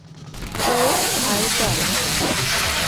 ооо ай дент